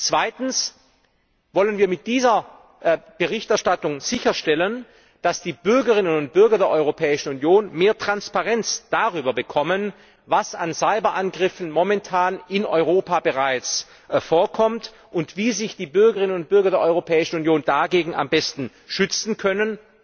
Zweitens wollen wir mit dieser Berichterstattung sicherstellen, dass die Bürgerinnen und Bürger der Europäischen Union mehr Transparenz darüber bekommen, was an Cyberangriffen momentan in Europa bereits vorkommt und wie sich die Bürgerinnen und Bürger der Europäischen Union einerseits am besten schützen können,